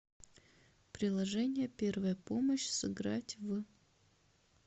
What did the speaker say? приложение первая помощь сыграть в